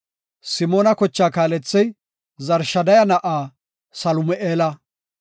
Simoona kochaa kaalethey Zurishadaya na7aa Salumi7eela.